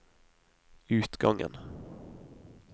utgangen